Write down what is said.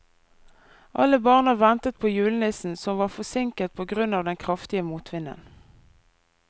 Alle barna ventet på julenissen, som var forsinket på grunn av den kraftige motvinden.